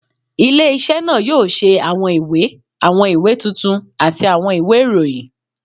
Ile-iṣẹ naa yoo ṣe awọn iwe, awọn iwe tuntun ati awọn iwe irohin